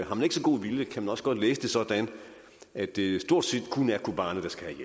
har man ikke så god vilje kan man også godt læse det sådan at det stort set kun er kobane der skal